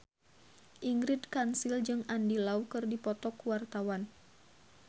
Ingrid Kansil jeung Andy Lau keur dipoto ku wartawan